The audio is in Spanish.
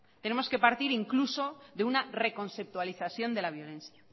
tenemos que partir incluso de una reconceptualización de la violencia